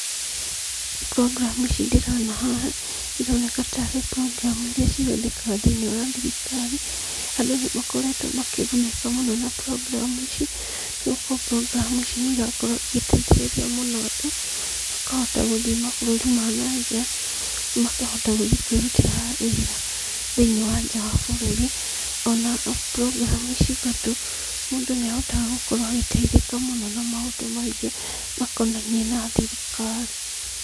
Program ici ndĩrona haha, ĩroneka taarĩ programu iria cihũthĩkaga thĩiniĩ wa thirikari. Andũ nĩ makoretwo makĩgunĩka mũno na program ici, nĩ gũkorwo program ici nĩ irakorwo igĩteithĩrĩria mũno andũ makahota gũthiĩ mabũrũri ma nanja, makahota gũthiĩ kwĩrutĩra wĩra thĩiniĩ wa nja wa bũrũri, ona program ici bado, mũndũ niahotaga gũkorwo agĩteithĩja mũno na maũndũ maingĩ, makonanie na thirikari.